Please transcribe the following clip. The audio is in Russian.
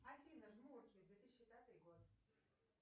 афина жмурки две тысячи пятый год